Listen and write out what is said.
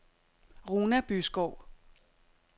Runa Byskov